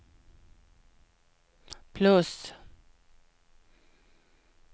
plus